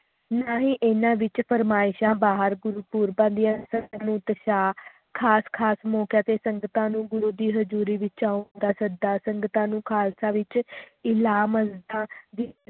ਨਾ ਹੀ ਇਹਨਾਂ ਵਿਚ ਫਰਮਾਇਸ਼ ਬਾਹਰ ਗੁਰੂ ਪੂਰਬਾਂ ਦੀਆਂ ਖਾਸ ਖਾਸ ਮੌਕਿਆਂ ਤੇ ਸੰਗਤਾਂ ਨੂੰ ਗੁਰੂ ਦੀ ਹਜੂਰੀ ਵਿਚ ਆਉਣ ਦਾ ਸੱਦਾ ਸੰਗਤਾਂ ਨੂੰ ਖਾਲਸਾ ਵਿਚ ਇਲਾਮੰਤ